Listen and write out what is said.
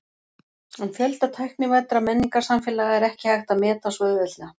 En fjölda tæknivæddra menningarsamfélaga er ekki hægt að meta svo auðveldlega.